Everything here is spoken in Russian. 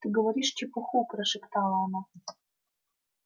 ты говоришь чепуху прошептала она